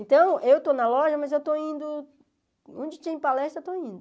Então, eu estou na loja, mas eu estou indo... Onde tem palestra, eu estou indo.